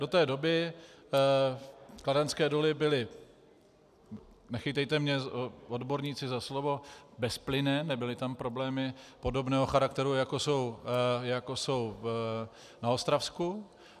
Do té doby kladenské doly byly, nechytejte mě odborníci za slovo, bezplynné, nebyly tam problémy podobného charakteru, jako jsou na Ostravsku.